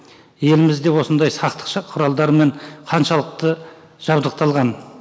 еліміз де осындай сақтықша құралдармен қаншалықты жабдықталған